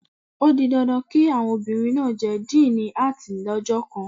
O di dandan kí àwọn obìnrin náà jẹ díìnì Áàtì lọ́jọ́ kan